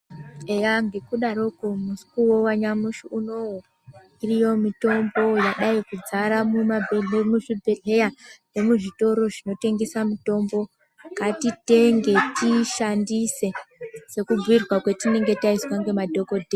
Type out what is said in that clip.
Eya, ngekudaroko mukuwo wanyamashi unou, iriyo mitombo yadai kudzara muzvibhedhleya nemuzvitoro zvinotengesa mitombo .Ngatitenge ,tiishandise ,sekubhuirwa kwatinenge taitwa ngemadhokodheya.